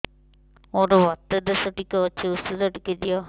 ମୋର୍ ବାତ ଦୋଷ ଟିକେ ଅଛି ଔଷଧ ଟିକେ ଦିଅ